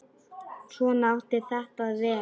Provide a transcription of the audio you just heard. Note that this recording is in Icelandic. Svona átti þetta að vera.